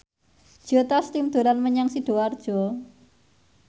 Joe Taslim dolan menyang Sidoarjo